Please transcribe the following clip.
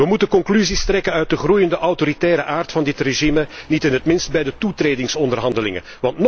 Wij moeten conclusies trekken uit de groeiende autoritaire aard van dit regime, niet in het minst bij de toetredingsonderhandelingen.